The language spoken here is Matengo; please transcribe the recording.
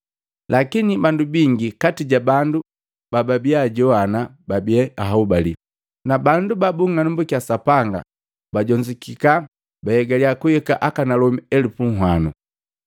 Lakini bandu bingi kati jabandu babaajowana babi ahobali, na bandu babung'anambukya Sapanga bajonzukika bahegali kuhika akanalomi elupu nhwano.